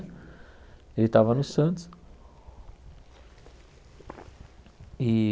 Ele estava no Santos. E